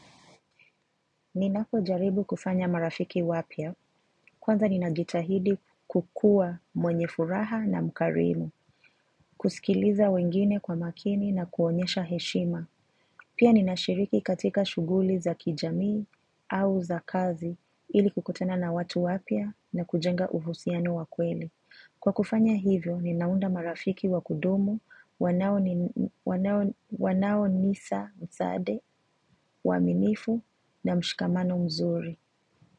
Ninapojaribu kufanya marafiki wapya, kwanza ninajitahidi kukuwa mwenye furaha na mkarimu, kusikiliza wengine kwa makini na kuonyesha heshima. Pia ninashiriki katika shughuli za kijamii au za kazi ili kukutana na watu wapya na kujenga uhusiano wa kweli. Kwa kufanya hivyo, ninaunda marafiki wa kudumu, wanaonisaidia, uaminifu na mshikamano mzuri.